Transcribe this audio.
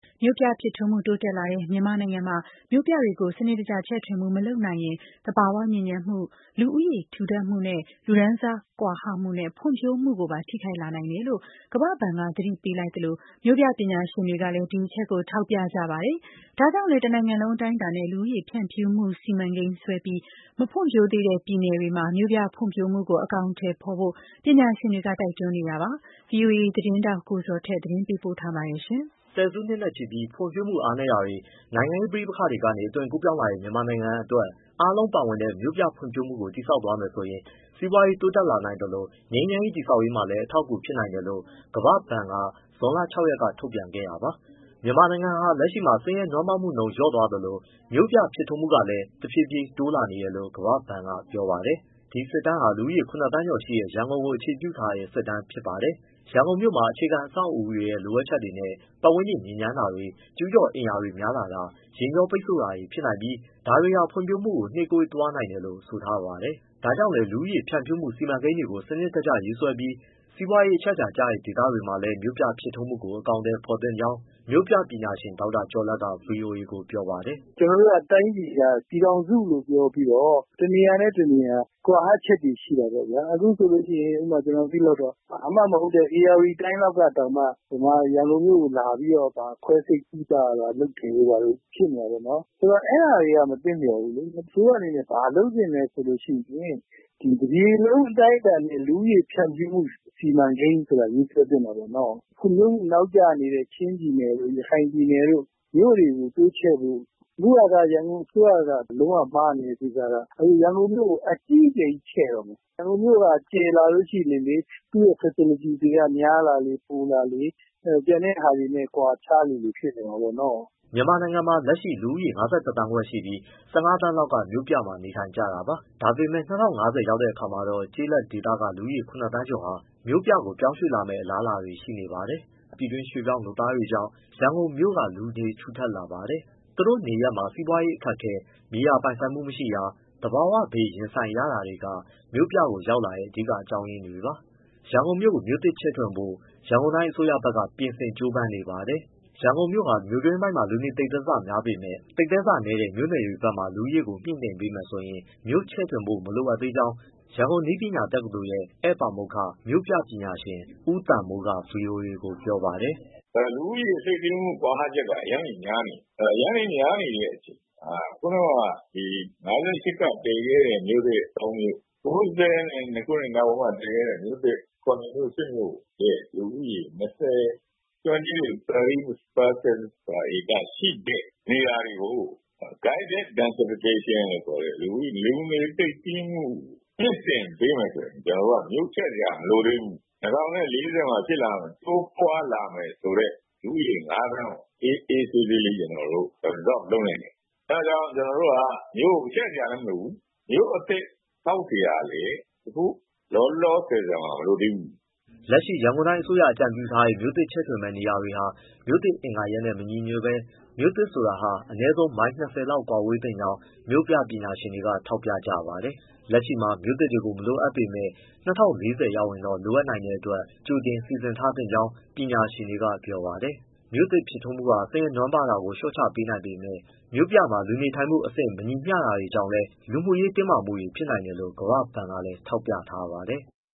မြို့ပြဖြစ်ထွန်းမှုတိုးတက်လာတဲ့ မြန်မာနိုင်ငံမှာ မြို့ပြတွေကို စနစ်တကျချဲ့ထွင်မှု မလုပ်နိုင်ရင် သဘာ၀ ညစ်ညမ်းမှုတွေ လူဦးရေ ထူထပ်မှုတွေနဲ့ အတူ လူတန်းစား ကွာဟမှုတွေနဲ့ ဖွံ့ ဖြိုးမှုကိုပါ ထိခိုက်လာနိုင်တယ် လို့ ကမ္ဘာ့ဘဏ်က သတိပေးလိုက်သလို၊ မြို့ပြပညာရှင်တွေကလည်း ဒီအချက်ကို ထောက်ပြနေပါတယ်။ ဒါကြောင့်လည်း တနိုင်ငံလုံးအတိုင်းအတာနဲ့ လူဦးရေဖြန့်ဖြူးမှု စီမံကိန်းဆွဲပြီး၊ မဖွံဖြိုးသေးတဲ့ ပြည်နယ်တွေမှာလည်း မြို့ပြဖွံံ့ဖြိုးမှုကို အကောင်အထည်ဖော်ဖို့ ပညာရှင်တွေက တိုက်တွန်းနေပါတယ်။ ဗွီအိုအေသတင်းထောက် ကိုဇော်ထက် သတင်းပေးပို့ ထားပါတယ်။ ဆယ်စုနှစ်နဲ့ ချီပြီး ဖွံ့ဖြိုးမှုအားနည်းနေတာတွေ၊ နိုင်ငံရေးပဋိပက္ခတွေကနေ အသွင်ကူးပြောင်း လာတဲ့ မြန်မာနိုင်ငံအတွက် အားလုံးပါဝင်တဲ့ မြို့ပြဖွံ့ဖြိုးမှုကို တည်ဆောက်သွားမယ် ဆိုရင် စီးပွားရေး တိုးတက်လာနိုင်သလို ငြိမ်းချမ်းရေး တည်ဆောက်ရေးမှာလည်း အထောက်အကူဖြစ်နိုင်တယ်လို့ ကမ္ဘာ့ဘဏ်က ဇွန်လ ၆ရက်က ထုတ်ပြန်ခဲ့တာပါ။ မြန်မာနိုင်ငံဟာ လက်ရှိအနေအထားမှာ ဆင်းရဲနွမ်းပါးမှုနှုန်း လျော့သွားသလို မြို့ပြဖြစ်ထွန်းတာကလည်း တဖြည်းဖြည်းတိုးတက်လာတယ်လို့ ကမ္ဘာ့ဘဏ်က ပြောပါတယ်။ ဒီစစ်တမ်းဟာ လူဥၤီးရေ ၇သန်းကျော်ရှိတဲ့ ရန်ကုန်ကို အခြေပြု သုံးသပ်တဲ့ စစ်တမ်းဖြစ်ပါတယ်။ ရန်ကုန်မြို့မှာ အခြေခံ အဆောက်အဦး တွေရဲ့ လိုအပ်ချက်တွေနဲ့ ပတ်ဝန်းကျင်ညစ်ညမ်းတာ၊ ကျူးကျော်အိမ်ရာတွေများလာတာ၊ ယာဉ်ကြော ပိတ်ဆို့တာတွေ ဖြစ်နိုင်ပြီး ဒါတွေက ဖွံ့ဖြိုးမှုကို နှေးကွေးသွားနိုင်တယ် လို့ ဆိုထားပါတယ်။ ဒါကြောင့်လည်း လူဦးရေ ဖြန့်ဖြူးမှုစီမံကိန်းတွေ စနစ်တကျရေးဆွဲပြီး စီးပွားရေး အချက်အချာဖြစ်နိုင်တဲ့ ဒေသတွေမှာလည်း မြို့ပြဖြစ်ထွန်းမှုကို အကောင်အထည် ဖော်သင့်ကြောင်း မြို့ပြပညာရှင် ဒေါက်တာကျော်လတ်က ဗွီအိုအေကို ပြောပါတယ်။ “ ကျနော်တို့က တိုင်းပြည်က ပြည်ထောင်စုလို့ပြောပြီးတော့ တနေရာနဲ့ တနေရာ ကွာဟချက်တွေ ရှိတာပေါ့ဗျာ။ အခုဆိုရင် ကျနော်သိသလောက်တော့ ဘာမှမဟုတ်တဲ့ ဧရာဝတီတိုင်းလောက်က တောင်မှ ရန်ကုန်မြို့ကိုလာပြီးတော့ ခွဲစိတ်ကုသရတာတွေ လုပ်တယ်တို့ဖြစ်နေတာပေါ့။ အဲဒါတွေက မသင့်လျော်ဘူးလေ။ အစိုးရအနေနဲ့ ဘာလုပ်သင့်လဲဆိုရင် တပြည်လုံး အတိုင်းအတာနဲ့ လူဦးရေဖြန့်ဖြူးမှု စီမံကိန်းဆိုတာကို ရေးဆွဲသင့်တာပေါ့။ ဖွံ့ဖြိုးမှုနောက်ကျနေတဲ့ ချင်းပြည်နယ်တို့၊ ရခိုင်ပြည်နယ်တို့ မြို့တွေကို တိုးချဲ့ဖို့။ အခုက ရန်ကုန်အစိုးရက လုံးဝမှားနေတဲ့ကိစ္စက ရန်ကုန်မြို့ကို အကြီးအကျယ် ကြီးချဲ့တော့မယ်။ ရန်ကုန်မြို့က ကျယ်လာလေ သူ့ရဲ့ facility တွေကများလာလေ၊ ပိုလာလေ ကျန်တဲ့ဟာတွေနဲ့ ကွာခြားလေလေဖြစ်နေမှာပေါ့နော်။” မြန်မာနိုင်ငံမှာလူဦးရေ ၅၁ သန်းခွဲရှိပြီး ၁၅သန်းလောက်က မြို့ပြမှာနေထိုင်ကြတာပါ။ ဒါပေမဲ့ ၂၀၅၀ ခုနှစ် ရောက်တဲ့အခါမှာတော့ ကျေးလက်ဒေသကလူ ၇သန်းကျော်ဟာ မြို့ပေါ်ပြောင်းရွေ့လာမယ့် အလားအလာရှိပါတယ်။ ပြည်တွင်းရွှေ့ပြောင်းလုပ်သား တွေကြောင့် ရန်ကုန်မြို့က လူနေထူထပ် လာပါတယ်။ သူတို့နေရပ်မှာ စီးပွားရေးအခက်အခဲ၊ မြေယာပိုင်ဆိုင်မှုမရှိတာ၊ သဘာဝဘေး ရင်ဆိုင်ရတာတွေက မြို့ပြကို ရောက်လာတဲ့ အဓိက အကြောင်းအရင်းတွေ ပါ။ ရန်ကုန်မြို့ကို မြို့သစ်ချဲ့ထွင်ဖို့ ရန်ကုန်တိုင်းအစိုးရဘက်က ပြင်ဆင်ကြိုးပမ်း နေပါတယ်။ ရန်ကုန်မြို့ဟာ မြို့တွင်းပိုင်းမှာ လူနေသိပ်သည်းဆများပေမဲ့ သိပ်သည်းဆ နည်းတဲ့ မြို့နယ်တွေဘက်မှာ လူဦးရေကိုမြှင့်တင်ပေးမယ်ဆိုရင် မြို့ချဲ့ထွင်ဖို့ မလိုအပ်သေးကြောင်း ရန်ကုန်နည်းပညာတက္ကသိုလ်ရဲ့ ဧည့်ပါမောက္ခ မြို့ပြပညာရှင် ဦးသံမိုးက ဗွီအိုအေကို ပြောပါတယ်။ “ အဲဒီတော့လူဦးရေ ကွာဟချက်က အရမ်းတွေများနေပြီ။ အရမ်းများနေတဲ့ အချိန်မှာ ၁၉၅၈ ကတည်ခဲ့တဲ့ မြို့သစ်၃ မြို့၊ ၁၉၉၂ နောက်ပိုင်းမှာတည်ခဲ့တဲ့မြို့သစ် ၇မြို့- ၈မြို့ရဲ့ လူဦးရေ 20 persons per acre ရှိတဲ့နေရာတွေကို guidance densification လို့ခေါ်တဲ့ လူနေသိပ်သည်းမှု မြှင့်တင်ပေးမယ်ဆိုရင် ကျနော်တို့က မြို့ချဲ့စရာမလိုသေးဘူး။ ၂၀၄၀ မှာ တိုးပွားလာမယ်ဆိုတဲ့ လူဦးရေ ငါးသန်းကို အေးအေးဆေးဆေးလေး ကျနော်တို့ absorb လုပ်နိုင်တယ်။ အဲဒါကြောင့်ကျနော်တို့ဟာ မြို့ကို ချဲ့စရာလည်းမလိုဘူး ၊မြို့သစ်ဆောက်စရာလည်း အခုလောလောဆယ် မလိုသေးဘူး။” လက်ရှိ ရန်ကုန်တိုင်းအစိုးရ အကြံပြုထားတဲ့ မြို့သစ်ချဲ့ထွင်မယ့် နေရာတွေဟာ မြို့သစ်အင်္ဂါရပ်နဲ့ မညီညွတ်ဘဲ မြို့သစ်ဆိုတာဟာ အနည်းဆုံး မိုင် ၂၀လောက်ဝေးကွာ သင့်ကြောင်း မြို့ပြပညာရှင်တွေက ထောက်ပြကြပါတယ်။ လက်ရှိမှာ မြို့သစ်တွေကို မလိုအပ်ပေမဲ့ ၂၀၄၀ ရောက်ရင်တော့ လိုနိုင်တဲ့ အတွက် ကြိုတင်စီစဉ် ထားသင့်ကြောင်း ပညာရှင်တွေက ပြောပါတယ်။ မြို့ပြဖြစ်ထွန်းမှုဟာ ဆင်းရဲနွမ်းပါးတာကို လျော့ချပေးနိုင်ပေမဲ့ မြို့ပြမှာ လူနေထိုင်မှု အဆင့် မညီမျှတာတွေကြောင့်လည်း လူမှုရေး တင်းမာမှုတွေဖြစ်နိုင်တယ်လို့ ကမ္ဘာ့ဘဏ်ကလည်း ထောက်ပြထားပါတယ်။